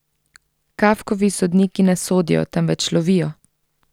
Kafkovi sodniki ne sodijo, temveč lovijo.